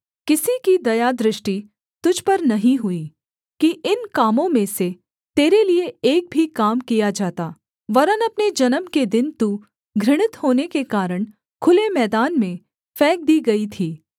किसी की दयादृष्टि तुझ पर नहीं हुई कि इन कामों में से तेरे लिये एक भी काम किया जाता वरन् अपने जन्म के दिन तू घृणित होने के कारण खुले मैदान में फेंक दी गई थी